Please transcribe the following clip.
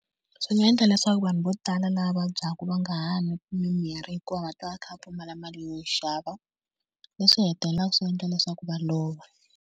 Swi nga endla leswaku vanhu vo tala lava vabyaka va nga ha nwi mimirhi, hikuva va ta va kha va pfumala mali yo xava leswi hetelelaka swi endla leswaku va lova.